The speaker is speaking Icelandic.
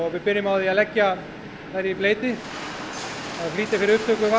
við byrjum á því að leggja þær í bleyti það flýtir fyrir upptöku vatns